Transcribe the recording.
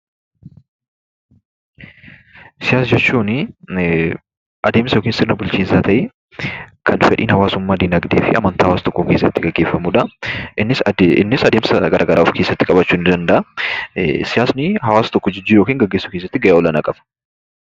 Siyaasa jechuuni adeemsa yookiin sirna bulchiinsaa ta'ee, kan fedhiin hawaasummaa, diinagdee fi amantaa hawaasa tokkoo keessatti gaggeeffamuudha. Innis adeemsa garaagaraa of keessatti qabaachuu ni danda'a. Siyaasni hawaasa tokko jijjiiruu yookiin gaggeessuu keessatti gahee olaanaa qaba.